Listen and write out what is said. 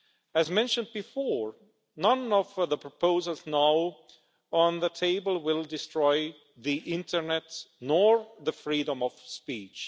As mentioned before, none of the proposals now on the table will destroy the internet nor the freedom of speech.